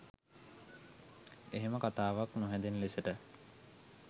එහෙම කතාවක් නොහැදෙන ලෙසට